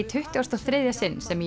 tuttugasta og þriðja sinn sem